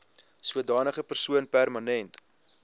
sodanige persoon permanent